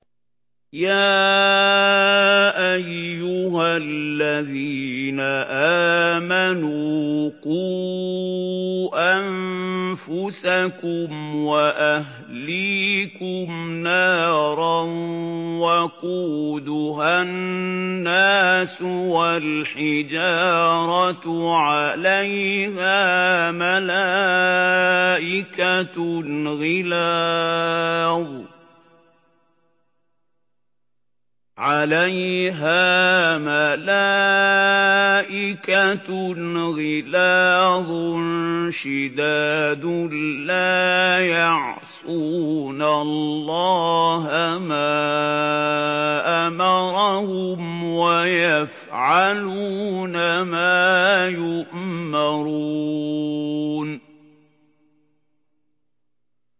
يَا أَيُّهَا الَّذِينَ آمَنُوا قُوا أَنفُسَكُمْ وَأَهْلِيكُمْ نَارًا وَقُودُهَا النَّاسُ وَالْحِجَارَةُ عَلَيْهَا مَلَائِكَةٌ غِلَاظٌ شِدَادٌ لَّا يَعْصُونَ اللَّهَ مَا أَمَرَهُمْ وَيَفْعَلُونَ مَا يُؤْمَرُونَ